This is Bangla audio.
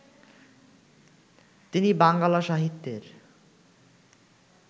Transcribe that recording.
তিনি বাঙ্গালা সাহিত্যের